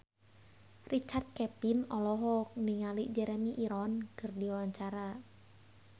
Richard Kevin olohok ningali Jeremy Irons keur diwawancara